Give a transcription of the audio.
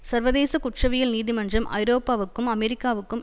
சர்வதேச குற்றவியல் நீதிமன்றம் ஐரோப்பாவுக்கும் அமெரிக்காவுக்கும்